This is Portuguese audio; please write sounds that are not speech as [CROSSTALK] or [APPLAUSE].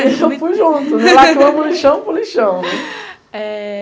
Eu fui junto, de lá que eu amo lixão para lixão. [LAUGHS]